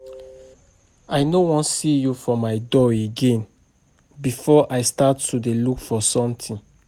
I no wan see you for my door again before I start to dey look for something